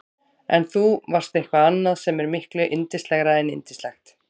En þú varst eitthvað annað sem er miklu yndislegra en yndislegt.